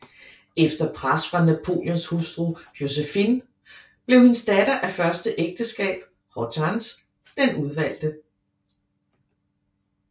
Efter pres fra Napoleons hustru Joséphine blev hendes datter af første ægteskab Hortense den udvalgte